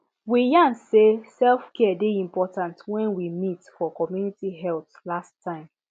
we yarn say selfcare dey important when we meet for community health last time